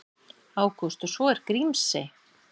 Ágúst: Og svo er Grímsey.